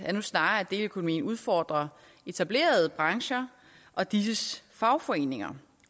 er nu snarere at deleøkonomien udfordrer etablerede brancher og disses fagforeninger